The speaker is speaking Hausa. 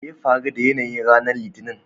me ya faru da yanayin ranar Litinin?